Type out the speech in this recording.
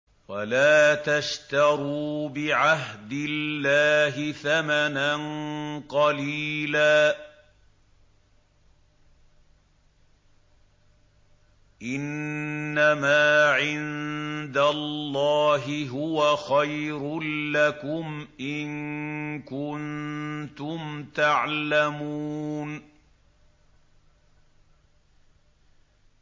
وَلَا تَشْتَرُوا بِعَهْدِ اللَّهِ ثَمَنًا قَلِيلًا ۚ إِنَّمَا عِندَ اللَّهِ هُوَ خَيْرٌ لَّكُمْ إِن كُنتُمْ تَعْلَمُونَ